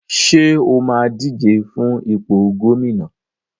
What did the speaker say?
Ṣé o máa díje fún ipò gómìnà?